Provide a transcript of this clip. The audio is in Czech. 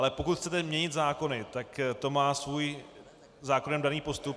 Ale pokud chcete měnit zákony, tak to má svůj zákonem daný postup.